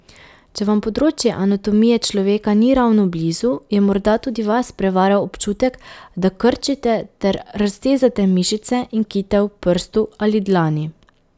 Če vam področje anatomije človeka ni ravno blizu, je morda tudi vas prevaral občutek, da krčite ter raztezate mišice in kite v prstu ali dlani.